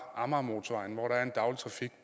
amagermotorvejen hvor der er en trafik